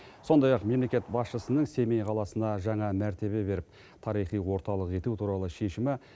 сондай ақ мемлекет басшысының семей қаласына жаңа мәртебе беріп тарихи орталық ету туралы шешімі